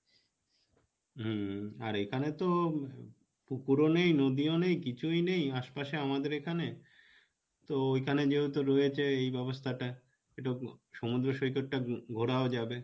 হম আর এখানে তো পুকুরও নেই নদীও নেই কিছুই নেই আশপাশে আমাদের এখানে তো ওইখানে যেহেতু রয়েছে এই ব্যাবস্থাটা একটু সমুদ্র সৈকতটা ঘোরাও যাবে,